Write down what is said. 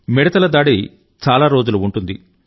మిడుతల దాడి చాలా రోజులు ఉంటుంది